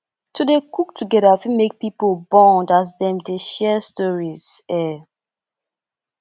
to dey cook together fit make pipo bond as dem dey share stories um